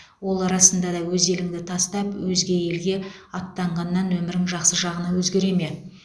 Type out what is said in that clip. ол расында да өз еліңді тастап өзге елге аттанғаннан өмірің жақсы жағына өзгере ме